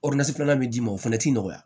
filanan bɛ d'i ma o fɛnɛ ti nɔgɔya